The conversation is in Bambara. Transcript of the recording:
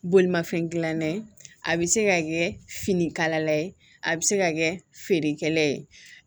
Bolimafɛn dilanna ye a bɛ se ka kɛ finikala la ye a bɛ se ka kɛ feerekɛla ye